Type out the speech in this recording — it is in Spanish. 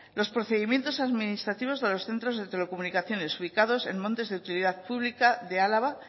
los procedimientos administrativos de los centros de telecomunicaciones ubicados en montes de utilidad pública de álava